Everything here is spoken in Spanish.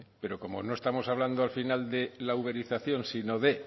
pero como no estamos hablando al final de la uberización sino de